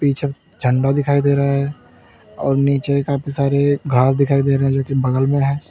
पीछे झंडा दिखाई दे रहा है और नीचे काफी सारे घास दिखाई दे रहे जो कि बगल में है।